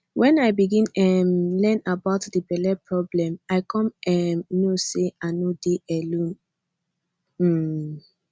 when i begin um learn about that belle problem i come um know say i no dey alone um